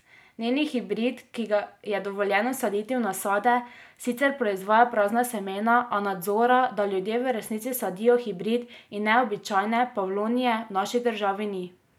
Njen hibrid, ki ga je dovoljeno saditi v nasade, sicer proizvaja prazna semena, a nadzora, da ljudje v resnici sadijo hibrid in ne običajne pavlovnije, v naši državi ni.